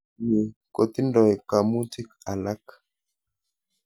Ni kotindoi kamutik alak